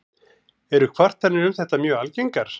Eru kvartanir um þetta mjög algengar.